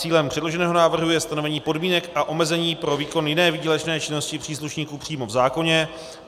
Cílem předloženého návrhu je stanovení podmínek a omezení pro výkon jiné výdělečné činnosti příslušníků přímo v zákoně.